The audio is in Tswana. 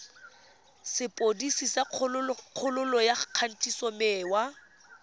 sepodisi sa kgololo ya kgatisomenwa